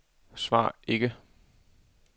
svar ikke